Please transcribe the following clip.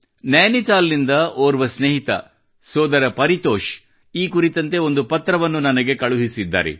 ನೈನಿತಾಲ್ ನಿಂದ ಓರ್ವ ಸ್ನೇಹಿತ ಸೋದರ ಪರಿತೋಷ್ ಈ ಕುರಿತಂತೆ ಒಂದು ಪತ್ರವನ್ನು ನನಗೆ ಕಳುಹಿಸಿದ್ದಾರೆ